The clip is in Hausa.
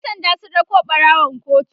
ƴan sanda sun rako ɓarawon kotu